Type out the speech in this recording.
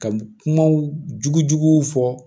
Ka kumaw jugu juguw fɔ